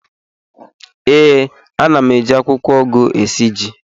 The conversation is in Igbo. Ee, ana m eji akwụkwọ ugu esi ji